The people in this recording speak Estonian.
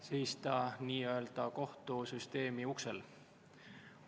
Seista n-ö kohtusüsteemi uksel.